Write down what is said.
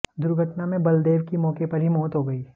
दुर्घटना में बलदेव की मौके पर ही मौत हो गई